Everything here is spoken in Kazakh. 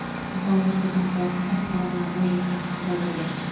мысалы нұр сұлтан қаласында құрамына бойжеткен қыз да кірген